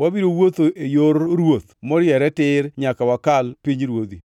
Wabiro wuotho e yor ruoth moriere tir nyaka wakal pinyruodhi.”